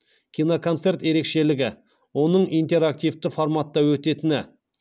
киноконцерт ерекшелігі оның интерактивті форматта өтетіні